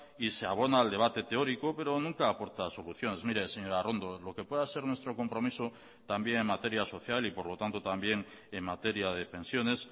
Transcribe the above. y se abona al debate teórico pero nunca aporta soluciones mire señora arrondo lo que pueda ser nuestro compromiso también en materia social y por lo tanto también en materia de pensiones